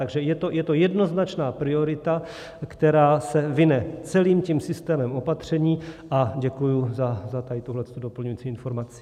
Takže je to jednoznačná priorita, která se vine celým tím systémem opatření, a děkuji za tuhle doplňující informaci.